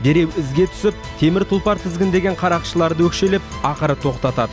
дереу ізге түсіп темір тұлпар тізгіндеген қарақшыларды өкшелеп ақыры тоқтатады